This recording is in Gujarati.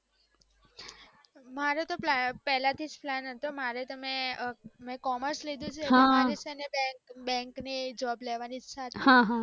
મારે તો પેલાથીજ plan હતો મારે તો મેં commerce લીધું છે, એટલે તો મારે છેને bank ની job લેવાની ઈચ્છા છે